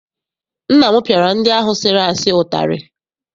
Nna m piara ndị ahụ sịrị asị utari.